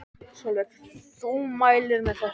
Sólveig: Þú mælir með þessu?